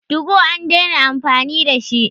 TU go an dena amfani da shi